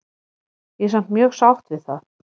Ég er samt mjög sátt við það.